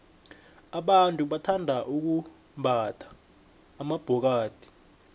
abantu bathanda ukumbatha amabhokathi